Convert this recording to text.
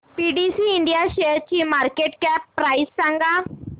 PTC India शेअरची market cap price सांगा